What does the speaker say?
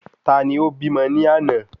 Tani o bímọ ni àná?